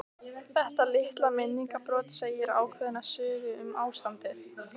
Þetta litla minningarbrot segir ákveðna sögu um ástandið.